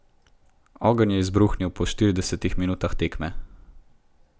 Ogenj je izbruhnil po štiridesetih minutah tekme.